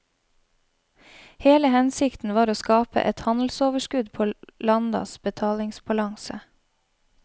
Hele hensikten var å skape et handelsoverskudd på landas betalingsbalanse.